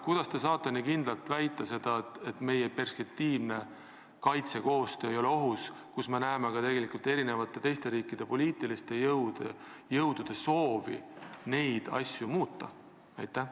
Kuidas te saate nii kindlalt väita, et meie perspektiivne kaitsekoostöö ei ole ohus, kui me näeme tegelikult ka teiste riikide poliitiliste jõudude soovi neid asju muuta?